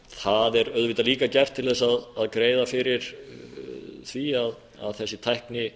það er auðvitað líka gert til þess að greiða fyrir því að þessi tækni